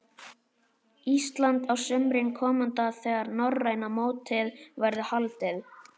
Íslands á sumri komanda þegar norræna mótið verður haldið.